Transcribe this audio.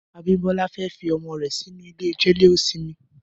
Abimbola fè fi ọmọ rè sinú ilé jẹléósìmì